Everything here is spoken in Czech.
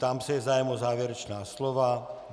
Ptám se, je zájem o závěrečná slova.